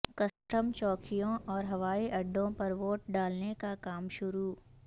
custom چوکیوں اور ہوئی اڈوں پر ووٹ ڈالنے کا کام شروع